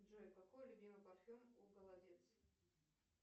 джой какой любимый парфюм у голодец